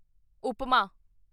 ਉਪਮਾ